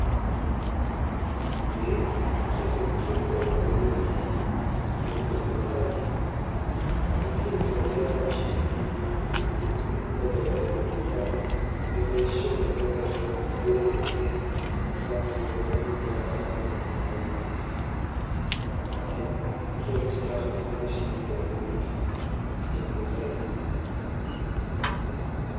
Ee ketibari toi pii duo tenduata aai amu kisaidia kunamashinini aitobiru endaa metaa mibukori ake metaabmelo oltungani hasara sapuk nakerito taa kuna mashinini ltunganak tenduata aai.